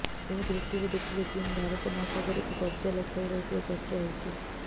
ଏ ଦୃଷ୍ଟିରେ ଦେଖିଲେ ଚୀନ ଭାରତ ମହାସାଗରକୁ କବ୍ଜା ଲକ୍ଷରେ ରହିଥିବା ଚର୍ଚ୍ଚା ହେଉଛି